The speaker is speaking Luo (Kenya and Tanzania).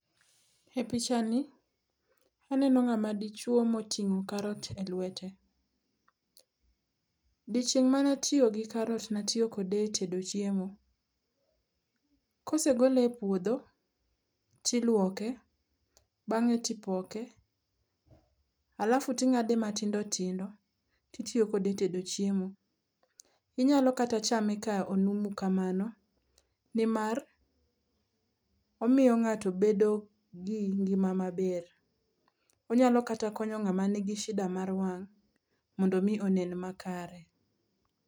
E pichani aneno ng'ama dichwo moting'o karot e lwete. Odiechieng' ma natiyo kod karot natiyo kode e tedo chiemo. Kosegole e puodho tiluoke bang'e tipoke alafu ting'ade matindo tindo titiyo kode e tedo chiemo. Inyalo kata chame ka onumu kamano nimar, omiyo ng'ato bedo gi ngima maber. Onyalo kata konyo ng'ama nigi shida mar wang' mondo omi onen makare.